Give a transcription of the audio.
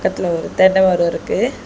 இதுல ஒரு தென்ன மரோ இருக்கு.